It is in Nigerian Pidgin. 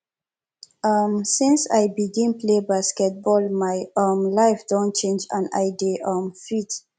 um since i begin play basketball my um life don change and i dey um fit